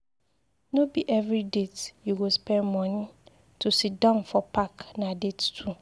No be every date you go spend moni, to siddon for park na date too.